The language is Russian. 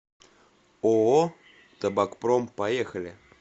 ооо табакпром поехали